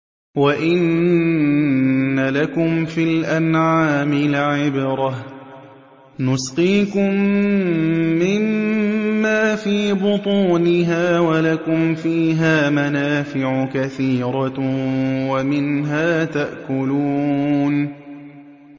وَإِنَّ لَكُمْ فِي الْأَنْعَامِ لَعِبْرَةً ۖ نُّسْقِيكُم مِّمَّا فِي بُطُونِهَا وَلَكُمْ فِيهَا مَنَافِعُ كَثِيرَةٌ وَمِنْهَا تَأْكُلُونَ